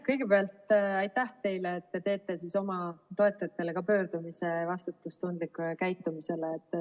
Kõigepealt aitäh teile, et te teete oma toetajatele ka üleskutse vastutustundlikule käitumisele.